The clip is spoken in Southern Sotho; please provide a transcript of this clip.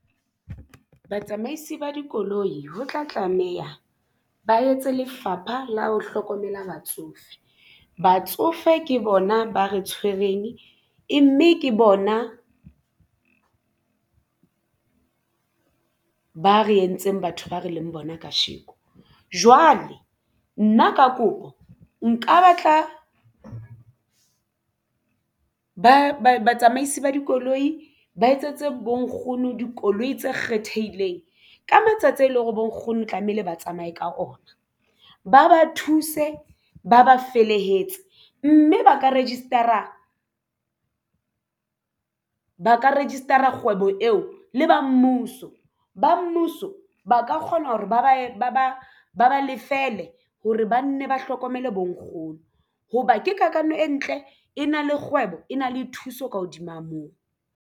Batsamaisi ba dikoloi ho tla tlameya ba etse lefapha la ho hlokomela batsofe. Batsofe ke bona ba re tshwereng e mme ke bona ba re entseng batho ba re leng bona kasheko. Jwale nna ka kopo nka batla ba batsamaisi ba dikoloi ba etsetse bonkgono dikoloi tse kgethehileng ka matsatsi ao e leng hore bo nkgono tlamehile ba tsamaye ka ona ba thuse ba ba felehetse mme ba ka register-a kgwebo eo le ba mmuso ba mmuso ba ka kgona hore ba ba lefele hore banne ba hlokomele bo nkgono hoba ke kakano e ntle e na le kgwebo e na le thuso ka hodima moo.